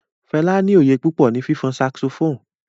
Fẹla ni oyé pupọ ni fifun saxophone